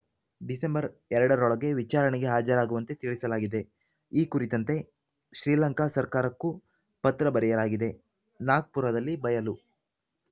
December ಎರಡರೊಳಗೆ ವಿಚಾರಣೆಗೆ ಹಾಜರಾಗುವಂತೆ ತಿಳಿಸಲಾಗಿದೆ ಈ ಕುರಿತಂತೆ ಶ್ರೀಲಂಕಾ ಸರ್ಕಾರಕ್ಕೂ ಪತ್ರ ಬರೆಯಲಾಗಿದೆ ನಾಗ್ಪುರದಲ್ಲಿ ಬಯಲು